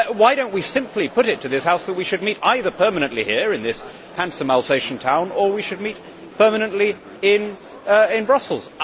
Why do we not simply put it to this House that we should meet either permanently here in this handsome Alsatian town or we should meet permanently in Brussels?